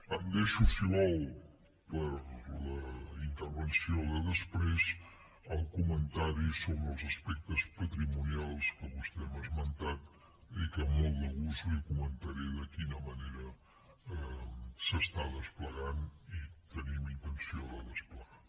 em deixo si ho vol per a la intervenció de després el comentari sobre els aspectes patrimonials que vostè m’ha esmentat i que amb molt de gust li comentaré de quina manera s’està desplegant i tenim intenció de desplegar